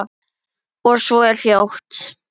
Og svo er hljótt.